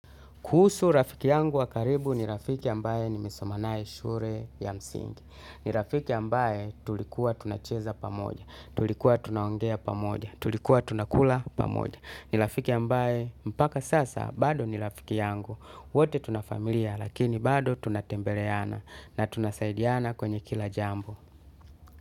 Kuhusu rafiki yangu wakaribu ni rafiki ambaye ni mesomanaye shule ya msingi. Ni rafiki ambaye tulikuwa tunacheza pamoja, tulikuwa tunaongea pamoja, tulikuwa tunakula pamoja. Ni rafiki ambaye mpaka sasa bado ni rafiki yangu. Wote tuna familia lakini bado tunatembeleana na tunasaidiana kwenye kila jambo.